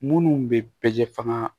Munnu be bɛ jɛ faga